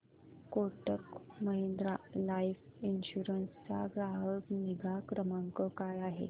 Kotak Mahindra life insurance चा ग्राहक निगा क्रमांक काय आहे